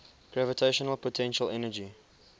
gravitational potential energy